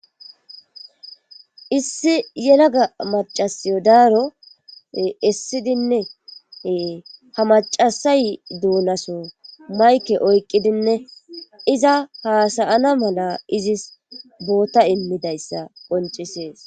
Issi yalaga maccaasiyo daaro essidinne ee hamaccasay doonaso mayke oyqqidinne iza haasa7ana mala izis boota immidayssa qonccissees.